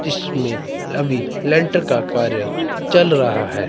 जिसमें अभी लेंटर का कार्य चल रहा है।